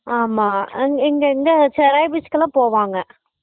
ஆமா இங்க செராய் beach கெல்லாம் போவாங்க